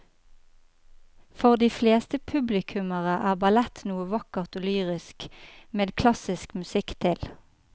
For de fleste publikummere er ballett noe vakkert og lyrisk med klassisk musikk til.